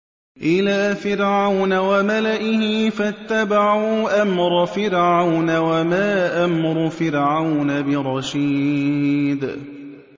إِلَىٰ فِرْعَوْنَ وَمَلَئِهِ فَاتَّبَعُوا أَمْرَ فِرْعَوْنَ ۖ وَمَا أَمْرُ فِرْعَوْنَ بِرَشِيدٍ